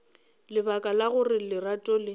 lebaka la gore lerato le